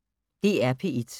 DR P1